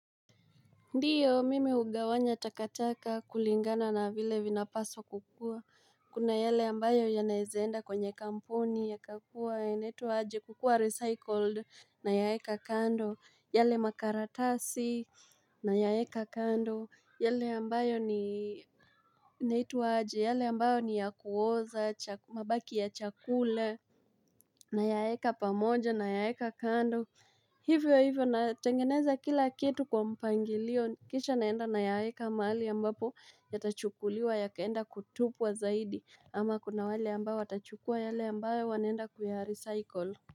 Ndiyo mimi hugawanya takataka kulingana na vile vinapaswa kukua, kuna yale ambayo yanaezaenda kwenye kamponi ya kakua inaitwa aje kukua recycled nayaeka kando, yale makaratasi na yaeka kando, yale ambayo ni naitwa aje, yale ambayo ni ya kuoza, mabaki ya chakula na yaeka pamoja na yaeka kando. Hivyo hivyo natengeneza kila kitu kwa mpangilio kisha naenda nayaeka mahali ambapo yatachukuliwa yakaenda kutupwa zaidi ama kuna wale ambao watachukua yale ambayo wanenda kuya recycle.